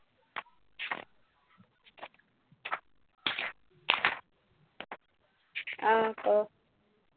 অ ক